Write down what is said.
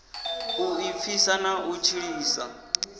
u ḓipfisa na u tshilisa